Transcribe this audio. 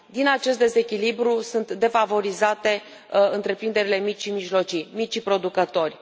Din acest dezechilibru sunt defavorizate întreprinderile mici și mijlocii, micii producători.